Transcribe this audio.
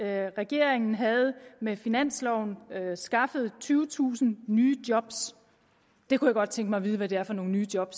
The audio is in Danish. at regeringen med finansloven havde skaffet tyvetusind nye job jeg kunne godt tænke mig at vide hvad det er for nogle nye job